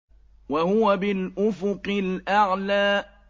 وَهُوَ بِالْأُفُقِ الْأَعْلَىٰ